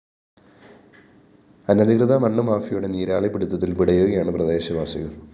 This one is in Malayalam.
അനധികൃത മണ്ണ് മാഫിയയുടെ നീരാളിപ്പിടുത്തത്തില്‍ പിടയുകയാണ് പ്രദേശവാസികള്‍